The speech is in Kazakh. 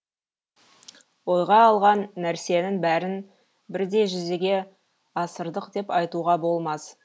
ойға алған нәрсенің бәрін бірдей жүзеге асырдық деп айтуға болмас